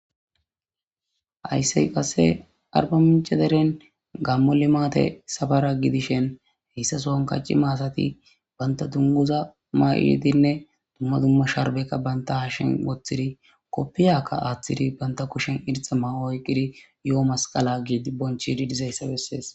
Hayssey qasse arba mincaderen gammo limaate safara gidishen heyssa sohan kacci maasati banta dunguza maa7iidinne dumma dumma sharbekka banta hashen woththidi koppiyakka aaththidi banta kushen irxa mawo oyqidi yo7o masqala gidi bonchididizayssa bessees